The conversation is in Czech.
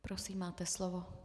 Prosím, máte slovo.